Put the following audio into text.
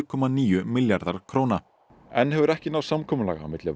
komma níu milljarðar króna enn hefur ekki náðst samkomulag á milli